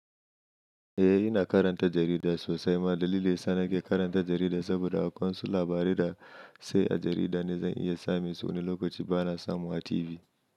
Eh ina karanta jarida sosai ma dalilin sa na ke karanta jarida saboda akwai su labarai da sai a jarida ne zan iya samin su wani lokaci ba na samu a TV.